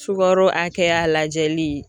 Sukaro hakɛya lajɛli.